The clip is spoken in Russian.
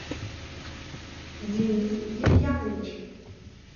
денис демьянович